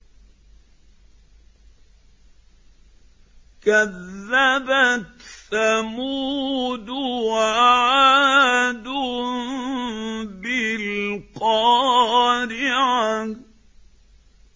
كَذَّبَتْ ثَمُودُ وَعَادٌ بِالْقَارِعَةِ